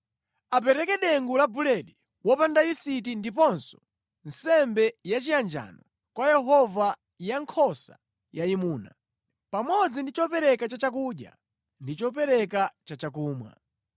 Apereke dengu la buledi wopanda yisiti ndiponso nsembe yachiyanjano kwa Yehova ya nkhosa yayimuna, pamodzi ndi chopereka cha chakudya ndi chopereka cha chakumwa.